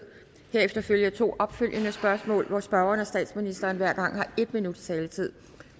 herefter følger to opfølgende spørgsmål hvor spørgeren og statsministeren hver gang har en minuts taletid